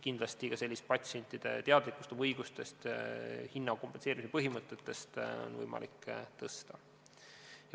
Kindlasti on võimalik tõsta ka patsientide teadlikkust oma õigustest ja hinnakompenseerimise põhimõtetest.